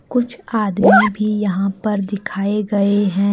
कुछ आदमी भी यहां पर दिखाए गए हैं।